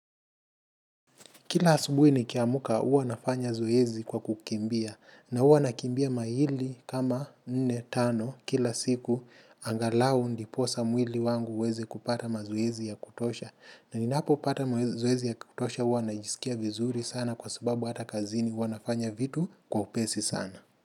Kila asubuhi nikiamka huwa nafanya zoezi kwa kukimbia na huwa nakimbia maili kama nne tano kila siku. Angalau ndiposa mwili wangu uweze kupata mazoezi ya kutosha. Na ninapopata mazoezi ya kutosha huwa najisikia vizuri sana kwa sababu hata kazini huwa nafanya vitu kwa upesi sana.